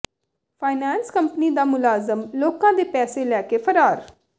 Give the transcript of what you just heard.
finance company ਦਾ ਮੁਲਾਜ਼ਮ ਲੋਕਾਂ ਦੇ ਪੈਸੇ ਲੈ ਕੇ ਫ਼ਰਾਰ